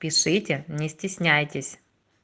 пишите не стесняйтесь